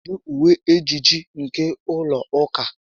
Kedu uwe ejiji nke ụlọ ụka a?